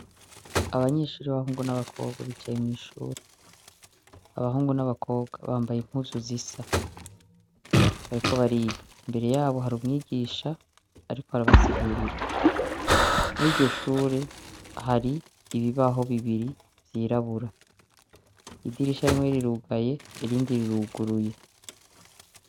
Abanyeshuri bahungu n'abakorwa bicaye mw'ishure abahungu n'abakobwa bambaye impuzu zisa, ariko bariga imbere yabo hari umwigisha, ariko harabasigurira mwiryo shure hari ibibaho bibiri vyirabura idirisha rimwe rirugaye irindi riruguruye.